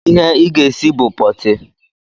Ihe ị ga-esi bụ pọọtị!